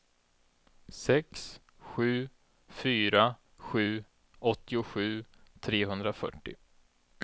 sex sju fyra sju åttiosju trehundrafyrtio